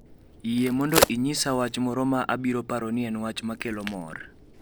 Yie mondo inyisa wach moro ma abiro paro ni en wach ma kelo mor